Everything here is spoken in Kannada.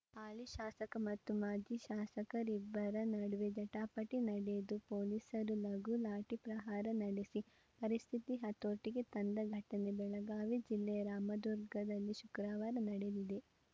ಹಾಲಿ ಶಾಸಕ ಮತ್ತು ಮಾಜಿ ಶಾಸಕರಿಬ್ಬರ ನಡುವೆ ಜಟಾಪಟಿ ನಡೆದು ಪೊಲೀಸರು ಲಘುಲಾಠಿ ಪ್ರಹಾರ ನಡೆಸಿ ಪರಿಸ್ಥಿತಿ ಹತೋಟಿಗೆ ತಂದ ಘಟನೆ ಬೆಳಗಾವಿ ಜಿಲ್ಲೆಯ ರಾಮದುರ್ಗದಲ್ಲಿ ಶುಕ್ರವಾರ ನಡೆದಿದೆ